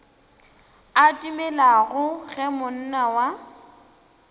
a dumelago ge monna wa